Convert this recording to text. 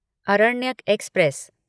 Aranyak express